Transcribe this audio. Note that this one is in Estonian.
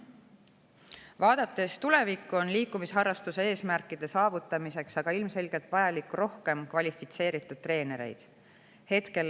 Vaadates tulevikku, on selge, et liikumisharrastuse eesmärkide saavutamiseks on ilmselgelt vaja rohkem kvalifitseeritud treenereid.